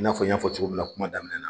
N'a fɔ n y'a fɔ cogo min na kuma daminɛ na.